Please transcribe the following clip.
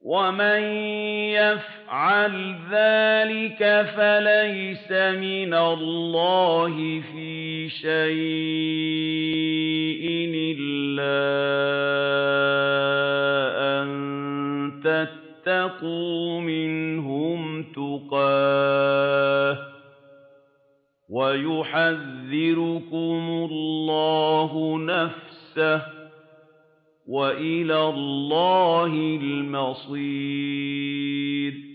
وَمَن يَفْعَلْ ذَٰلِكَ فَلَيْسَ مِنَ اللَّهِ فِي شَيْءٍ إِلَّا أَن تَتَّقُوا مِنْهُمْ تُقَاةً ۗ وَيُحَذِّرُكُمُ اللَّهُ نَفْسَهُ ۗ وَإِلَى اللَّهِ الْمَصِيرُ